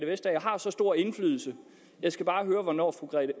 vestager har så stor indflydelse jeg skal bare høre hvornår fru